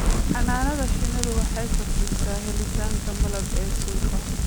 Xannaanada shinnidu waxay kordhisaa helitaanka malab ee suuqa.